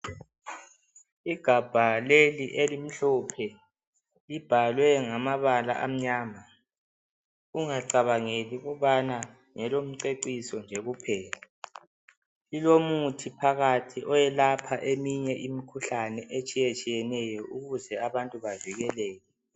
Igabha leli elimhlophe. Libhalwe ngamabala amnyama. Ungacabangeli ukubana ngelokumceciso nje kuphela. Lilomuthi phakathi oyelapha eminye imikhuhlane etshiyetshiyeneyo ukuze abantu bavikeleke